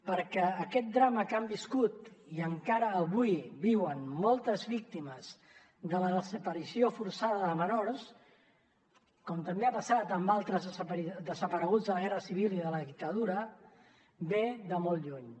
perquè aquest drama que han viscut i encara avui viuen moltes víctimes de la desaparició forçada de menors com també ha passat amb altres desapareguts de la guerra civil i de la dictadura ve de molt lluny